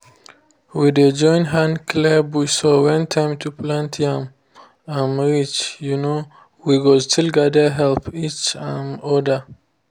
we dey join hand clear bush so when time to plant yam um reach um we go still gather help each um other.